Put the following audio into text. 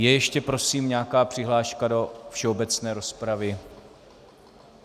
Je ještě prosím nějaká přihláška do všeobecné rozpravy?